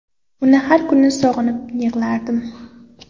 Uni har kuni sog‘inib yig‘lardim.